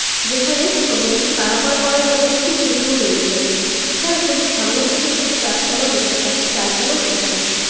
যেখানে তো নদীটি পারাপার করার জন্য একটি সেতুও তৈরি হয়েছে। এছাড়াও ছবির সামনের দিকে কিছু গাছ পালাও দেখতে পাচ্ছি ডালপালাও চোখে পড়ছে।